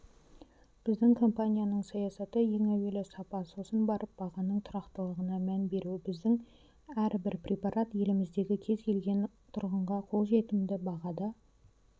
біздің компанияның саясаты ең әуелі сапа сосын барып бағаның тұрақтылығына мән беру біздің әрбір препарат еліміздегі кез келген тұрғынға қолжетімді бағада